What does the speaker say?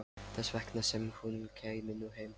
Þess vegna sem hún kæmi nú heim.